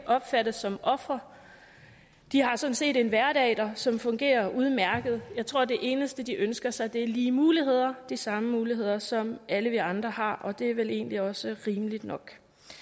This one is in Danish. opfattes som ofre de har sådan set en hverdag som fungerer udmærket jeg tror at det eneste de ønsker sig er lige muligheder de samme muligheder som alle vi andre har og det er vel egentlig også rimeligt nok